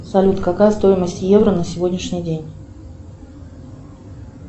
салют какая стоимость евро на сегодняшний день